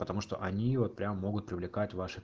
потому что они его прямо могут привлекать ваши